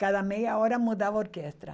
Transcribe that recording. Cada meia hora mudava orquestra.